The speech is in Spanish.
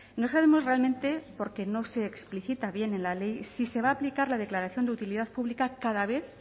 no sabemos realmente porque no se explicita bien en la ley si se va a aplicar la declaración de utilidad pública cada vez